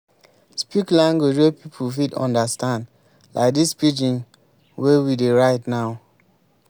speak language wey pipo fit understand like this pidgin wey we dey write now